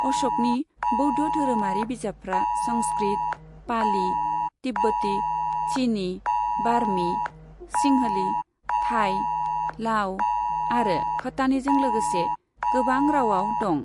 अश'कनि बौद्ध धोरोमारि बिजाबफ्रा संस्कृट, पाली, तिब्बती, चिनी, बार्मी, सिंहली, थाई, लाअ' आरो ख'टानीजों लागोसे गोबां रावआव दं।